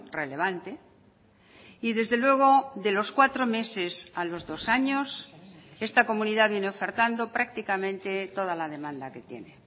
relevante y desde luego de los cuatro meses a los dos años esta comunidad viene ofertando prácticamente toda la demanda que tiene